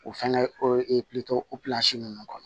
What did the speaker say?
O fɛngɛ hakili to opilansi ninnu kɔnɔ